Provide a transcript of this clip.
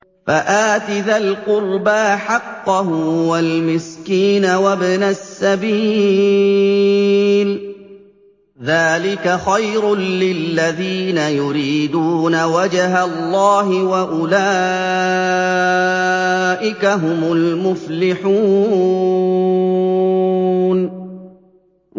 فَآتِ ذَا الْقُرْبَىٰ حَقَّهُ وَالْمِسْكِينَ وَابْنَ السَّبِيلِ ۚ ذَٰلِكَ خَيْرٌ لِّلَّذِينَ يُرِيدُونَ وَجْهَ اللَّهِ ۖ وَأُولَٰئِكَ هُمُ الْمُفْلِحُونَ